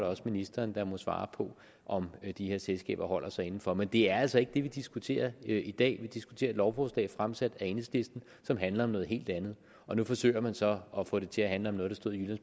også ministeren der må svare på om de her selskaber holder sig inden for rammerne men det er altså ikke det vi diskuterer i dag vi diskuterer et lovforslag fremsat af enhedslisten som handler om noget helt andet og nu forsøger man så at få det til at handle om noget der stod i